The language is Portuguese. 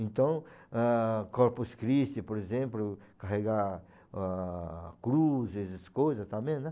Então, ah, Corpus Christi, por exemplo, carrega a cruz, essas coisas também, né?